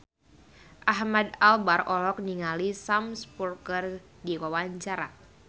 Ahmad Albar olohok ningali Sam Spruell keur diwawancara